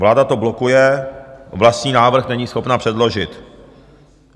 Vláda to blokuje, vlastní návrh není schopna předložit.